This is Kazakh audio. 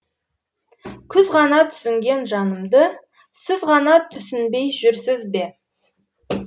күз ғана түсінген жанымды сіз ғана түсінбей жүрсіз бе